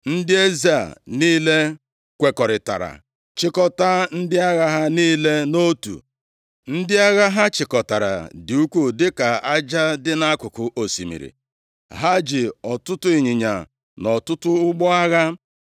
Ndị eze a niile kwekọrịtara chịkọtaa ndị agha ha niile nʼotu. Ndị agha ha chịkọtara dị ukwuu dịka aja dị nʼakụkụ osimiri. Ha ji ọtụtụ ịnyịnya na ọtụtụ ụgbọ agha.